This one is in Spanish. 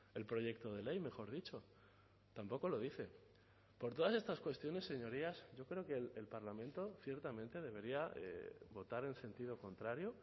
el proyecto de ley mejor dicho tampoco lo dice por todas estas cuestiones señorías yo creo que el parlamento ciertamente debería votar en sentido contrario